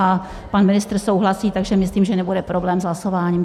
A pan ministr souhlasí, takže myslím, že nebude problém s hlasováním.